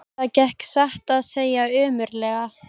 Það gekk satt að segja ömurlega.